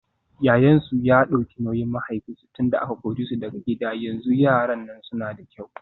Yayansu ya dauki nauyin mahaifinsu tunda aka kore su daga gida yanzu yaran nan suna da kyau.